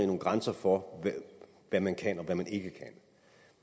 nogle grænser for hvad man kan og hvad man ikke kan